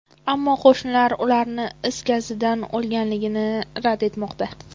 Ammo qo‘shnilar ularni is gazidan o‘lganligini rad etmoqda.